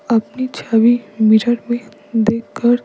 अपनी छबी मिरर में देखकर--